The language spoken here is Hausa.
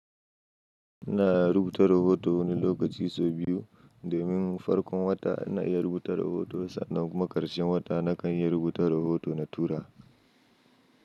Ina rubuta rahoto wani lokaci sau biyu. Domin farkon wata ina iya rubuta rahoto sannan kuma ƙarshen wata na kan iya rubuta rahoto na tura.